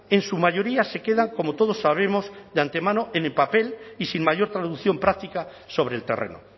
en su mayoría se quedan como todos sabemos de antemano en el papel y sin mayor traducción práctica sobre el terreno